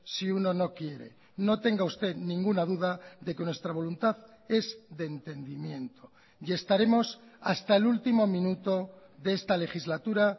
si uno no quiere no tenga usted ninguna duda de que nuestra voluntad es de entendimiento y estaremos hasta el último minuto de esta legislatura